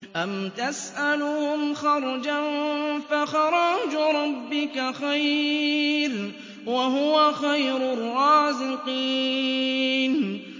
أَمْ تَسْأَلُهُمْ خَرْجًا فَخَرَاجُ رَبِّكَ خَيْرٌ ۖ وَهُوَ خَيْرُ الرَّازِقِينَ